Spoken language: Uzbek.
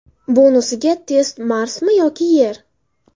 Bonusiga test Marsmi yo Yer?